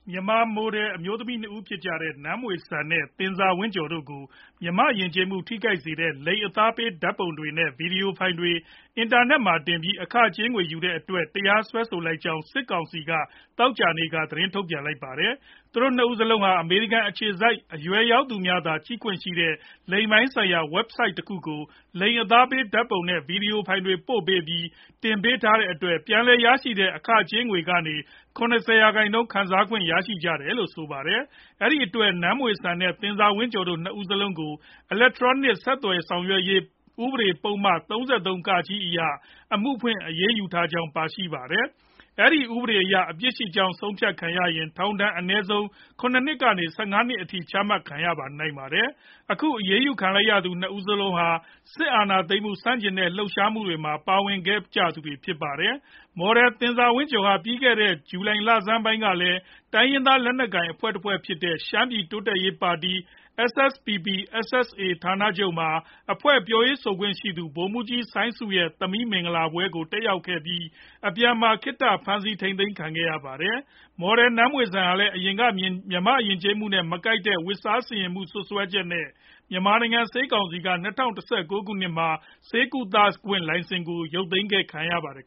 မြန်မာ မိုဒယ် အမျိုးသမီး ၂ ဦးဖြစ်ကြတဲ့ နန်းမွေစံ နဲ့ သင်ဇာဝင့်ကျော် တို့ကို မြန်မာ့ယဉ်ကျေးမှု ထိခိုက်စေတဲ့ လိင်အသားပေး ဓါတ်ပုံတွေ နဲ့ ဗွီဒီယိုဖိုင်တွေ အင်တာနက်မှာ တင်ပြီး အခကြေးငွေယူတဲ့အတွက် တရားစွဲဆိုလိုက်ကြောင်း စစ်ကောင်စီက သောကြာနေ့က ထုတ်ပြန်လိုက်ပါတယ်။ သူတို့ ၂ ဦးစလုံးဟာ အမေရိကန် အခြေစိုက် အရွယ်ရောက်သူများသာ ကြည့်ခွင့်ရှိတဲ့ လိင်ပိုင်းဆိုင်ရာ Website တခုကို လိင်အသားပေးဓါတ်ပုံ နဲ့ ဗွီဒီယိုဖိုင်တွေ ပို့ပေးပြီး တင်ပေးတဲ့အတွက် ပြန်လည်ရရှိတဲ့ ငွေကြေးတွေကနေ ၇ဝ ရာခိုင်နှုန်း ခံစားခွင့်ရကြတယ်လို့လည်း ဆိုပါတယ်။ အဲဒီအတွက် နန်းမွေ့စံ နဲ့ သင်ဇာဝင့်ကျော် တို့ ၂ ဦးစလုံးကို အီလက်ထရောနစ် ဆက်သွယ်ဆောင်ရွက်ရေး ဥပဒေ ပုဒ်မ ၃၃ (က) အရ အမှုဖွင့်အရေးယူထားကြောင်းလည်း ပါရှိပါတယ်။ အဲဒီ ဥပဒေအရ အပြစ်ရှိကြောင်း ဆုံးဖြတ်ခံရရင် ထောင်ဒဏ် အနည်းဆုံး ၇ နှစ် ကနေ အများဆုံး ၁၅ နှစ်အထိ ချမှတ်နိုင်ပါတယ်။ အခုအရေးယူခံလိုက်ရသူ ၂ ဦးစလုံးဟာ စစ်အာဏာသိမ်းမှု ဆန့်ကျင်တဲ့ လှုပ်ရှားမှုတွေမှာ ပါဝင်ခဲ့ဖူးသူတွေလည်း ဖြစ်ပါတယ်။ မော်ဒယ်သင်ဇာဝင့်ကျော် ဟာ ပြီးခဲ့တဲ့ ဇူလိုင်လဆန်းပိုင်းကလည်း တိုင်းရင်းသား လက်နက်ကိုင်အဖွဲ့တဖွဲ့ဖြစ်တဲ့ ရှမ်းပြည်တိုးတက်ရေးပါတီ SSPP/SSA ဌာနချုပ်မှာ အဖွဲ့ ပြောရေးဆိုခွင့်ရှိသူ ဗိုလ်မှူးကြီး စိုင်းဆု ရဲ့သမီး မင်္ဂလာပွဲကို တက်ရောက်ခဲ့ပြီး အပြန်မှာ ခေတ္တဖမ်းဆီးခံခဲ့ရဖူးပါတယ်။ မော်ဒယ်နန်းမွေစံ ဟာ အရင်ကလည်း မြန်မာ့ယဉ်ကျေးမှုနဲ့ မကိုက်တဲ့ ဝတ်စားဆင်ယင်မှု စွပ်စွဲချက်နဲ့ မြန်မာနိုင်ငံ ဆေးကောင်စီက ၂၀၁၉ ခုနှစ်မှာ ဆေးကုသခွင့် လိုင်စင်ကို သိမ်းခံခဲ့ရဖူးပါတယ်။